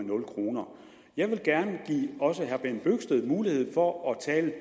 nul kroner jeg vil gerne give også herre bent bøgsted mulighed for at tale